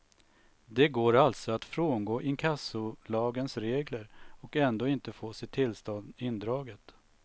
Det går alltså att frångå inkassolagens regler och ändå inte få sitt tillstånd indraget.